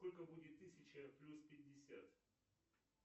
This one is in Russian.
сколько будет тысяча плюс пятьдесят